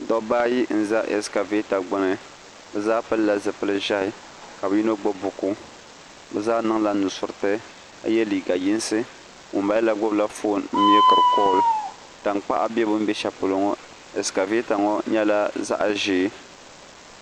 dɔbba ayi n-za asikaaveeta gbuni bɛ zaa pilila zipil' ʒɛhi ka bɛ yino gbubi buku bɛ zaa niŋla nusuriti ka ye liiga yinsi ŋumbala la gbubila foon n-meekiri kɔɔli tankpaɣu be bɛn be shɛli polo ŋɔ asikaaveeta ŋɔ nyɛla zaɣ' ʒee